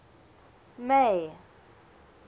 may